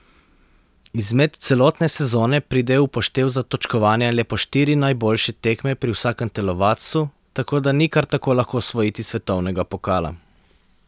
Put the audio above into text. Izmed celotne sezone pridejo v poštev za točkovanje le po štiri najboljše tekme pri vsakem telovadcu, tako da ni kar tako lahko osvojiti svetovnega pokala.